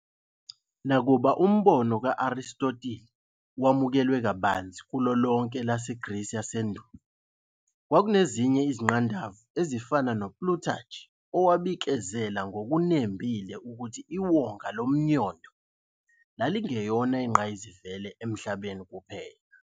Nakuba umbono ka-Arisitotile wamukelwa kabanzi kulo lonke elaseGrisi yasendulo, kwakunezinye izingqandavu ezifana noPlutarch owabikezela ngokunembile ukuthi iwonga lomnyondo lalingeyona ingqayizivele eMhlabeni kuphela.